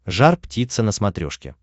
жар птица на смотрешке